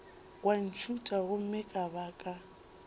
wa ntšhutha gomme ka baka